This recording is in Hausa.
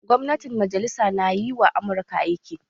Gwamnatin majalisa na yi wa Amurka aiki